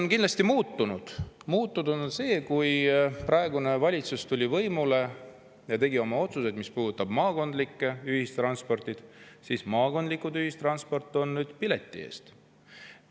Aga kindlasti on muutunud see, et kui praegune valitsus tuli võimule ja tegi oma otsused, mis puudutasid maakondlikku ühistransporti, siis pärast seda on maakondlikku ühistransporti pilet.